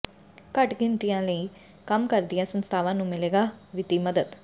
ਘੱਟ ਗਿਣਤੀਆਂ ਲਈ ਕੰਮ ਕਰਦੀਆਂ ਸੰਸਥਾਵਾਂ ਨੂੰ ਮਿਲੇਗੀ ਵਿੱਤੀ ਮਦਦ